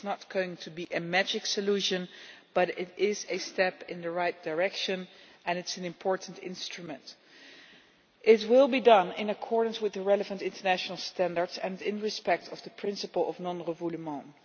It is not going to be a magic solution, but it is a step in the right direction and an important instrument. This will be done in accordance with the relevant international standards and by respecting the principle of non refoulement.